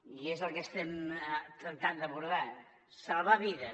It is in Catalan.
i és el que estem tractant d’abordar salvar vides